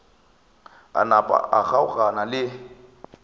a napa a kgaogana le